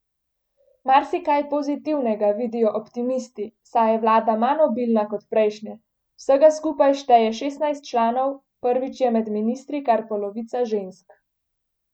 Marsikaj pozitivnega vidijo optimisti, saj je vlada manj obilna kot prejšnje, vsega skupaj šteje šestnajst članov, prvič je med ministri kar polovica žensk.